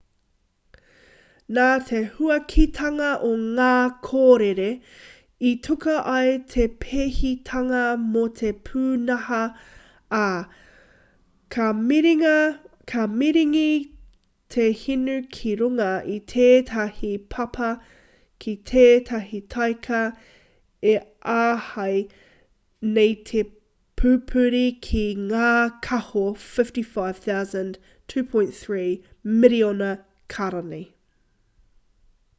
nā te huakitanga o ngā kōrere i tuku ai te pēhitanga mō te pūnaha ā ka maringi te hinu ki runga i tētahi papa ki tētahi taika e āhei nei te pupuri ki ngā kāho 55,000 2.3 miriona kārani